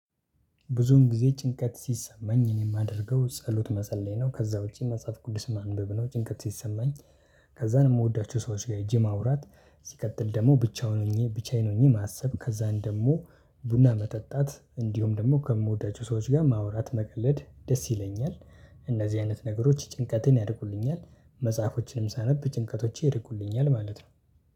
ብዙውን ጊዜ ጭንቀት ሲሰማኝ እኔ የማደርገው ጸሎት መፀለይ ነው ከዛ ውጪ መጽሐፍ ቅዱስ ማንበብ ነው ጭንቀት ሲሰማኝ። ከዛን እምወዳቸው ሰዎች ጋር ሄጄ ማውራት። ሲቀጥል ደግሞ ብቻውን ሆኜ ብቻዬን ሆኜ ማሰብ ከዛን ደግሞ ቡና መጠጣት እንዲሁም ደግሞ ከምወዳቸው ሰዎች ጋር ማውራት መቀለድ ደስ ይለኛል። እነዚህ አይነት ነገሮች ጭንቀቴን ያርቁልኛል። መጽሐፎችን ሳነብ ጭንቀቶቼ ይርቁልኛል ማለት ነው